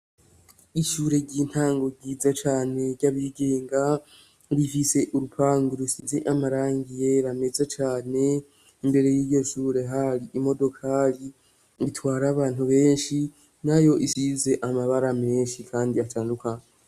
Ishure ry'intango ryiza cane ry'abigenga rifise urupangu rusize amarangi yera meza cane, imbere y'iryo shure hari imodokari itwara abantu benshi nayo isize amabara menshi kandi atandukanye.